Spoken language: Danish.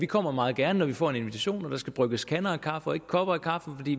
kommer meget gerne når vi får en invitation og der skal brygges kander af kaffe og ikke kopper af kaffe